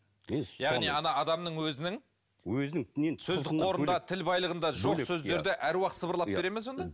яғни ана адамның өзінің сөздік қорында тіл байлығында жоқ сөздерді аруақ сыбырлап бере ме сонда